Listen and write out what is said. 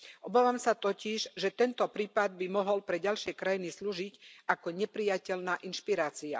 Obávam sa totiž, že tento prípad by mohol pre ďalšie krajiny slúžiť ako neprijateľná inšpirácia.